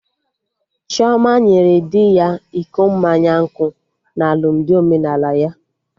Chioma nyere di ya iko mmanya nkwụ na alụmdi omenala ya